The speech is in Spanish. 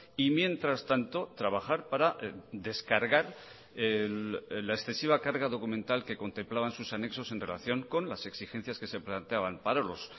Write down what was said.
y mientras tanto trabajar para descargar la excesiva carga documental que contemplaban sus anexos en relación con las exigencias que se planteaban para los